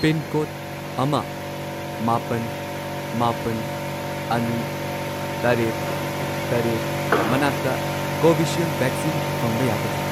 Pincode ꯑꯃ, ꯃꯥꯄꯟ, ꯃꯥꯄꯜ, ꯑꯅꯤ, ꯇꯔꯦꯠ, ꯇꯔꯦꯠ ꯃꯅꯥꯛꯇ ꯀꯣꯚꯤꯁꯤꯜꯗ ꯚꯦꯛꯁꯤꯟ ꯐꯪꯕ ꯌꯥꯒꯗ꯭ꯔꯥ?